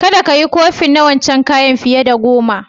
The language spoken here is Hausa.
Kadda ka yi kofin na wancan kayan fiye da goma!